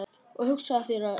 Og hugsaðu þér, Örn.